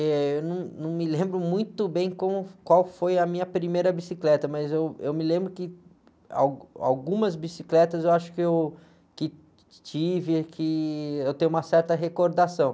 Eh, eu num, não me lembro muito bem como, qual foi a minha primeira bicicleta, mas eu, eu me lembro que, algumas bicicletas eu acho que eu, que tive, que eu tenho uma certa recordação.